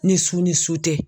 Ni su ni su tɛ